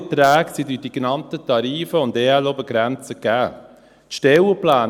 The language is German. – Alle Erträge sind durch die genannten Tarife und Obergrenzen für Ergänzungsleistungen (EL) gegeben.